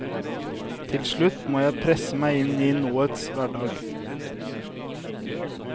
Til slutt må jeg presse meg inn i nåets hverdag.